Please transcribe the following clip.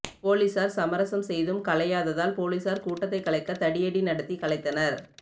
போலீசார் சமரசம் செய்தும் கலையாததால் போலீசார் கூட்டத்தை கலைக்க தடியடி நடத்தி கலைத்தனர்